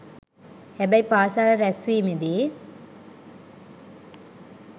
හැබැයි පාසල් රැුස්වීමේදී